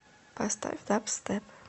поставь дабстеп